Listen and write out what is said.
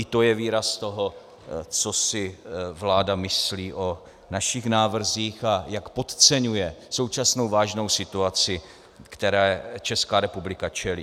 I to je výraz toho, co si vláda myslí o našich návrzích a jak podceňuje současnou vážnou situaci, které Česká republika čelí.